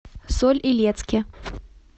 соль илецке